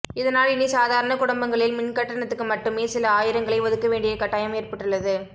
இதனால் இனி சாதாரண குடும்பங்களில் மின்கட்டணத்துக்கு மட்டுமே சில ஆயிரங்களை ஒதுக்க வேண்டிய கட்டாயம் ஏற்பட்டுள்ளது